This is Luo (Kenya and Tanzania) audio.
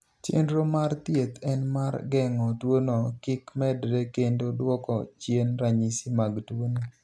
Chenro mar thieth en mar geng'o tuono kik medre kendo duoko chien ranyisi mag tuono.